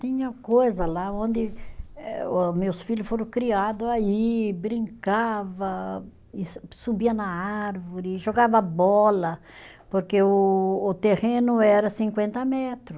Tinha coisa lá onde eh o meus filho foram criado aí, brincava, e su subia na árvore, jogava bola, porque o o terreno era cinquenta metro.